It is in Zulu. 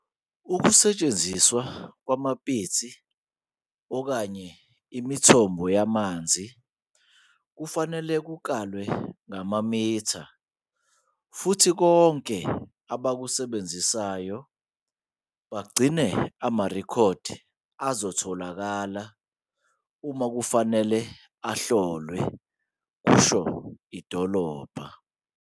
"Ukusetshenziswa kwamapitsi okanye imithombo yamanzi kufanele kukalwe ngamamitha futhi bonke abakusebenzisayo bagcine amarekhodi azotholakala uma kufanele ahlolwe," kusho idolobha.